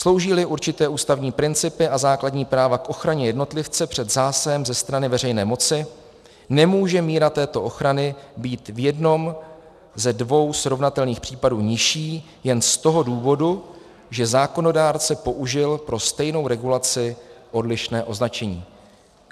Slouží-li určité ústavní principy a základní práva k ochraně jednotlivce před zásahem ze strany veřejné moci, nemůže míra této ochrany být v jednom ze dvou srovnatelných případů nižší jen z toho důvodu, že zákonodárce použil pro stejnou regulaci odlišné označení.